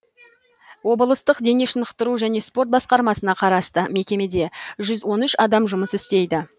облыстық дене шынықтыру және спорт басқармасына қарасты мекемеде жүз он үш адам жұмыс істейді